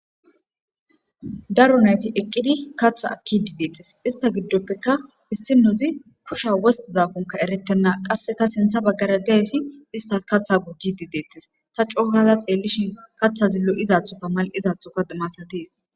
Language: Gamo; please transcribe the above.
Daro nayti eqqidi katha akki dideettes ista giddoppeka issi nozi kusha wost zaakonka eretenna qasseka sintha baggara dayssi ista katha gugi dideettes ta coohaza xeellishi kaththa zillo izaathoka mal7izaathoka masatees.